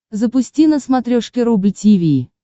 запусти на смотрешке рубль ти ви